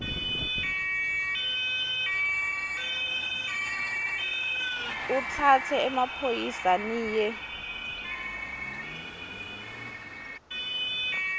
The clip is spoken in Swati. utsatse emaphoyisa niye